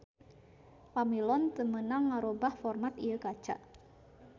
Pamilon teu meunang ngarobah format ieu kaca